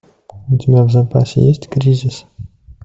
у тебя в запасе есть кризис